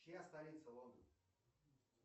чья столица лондон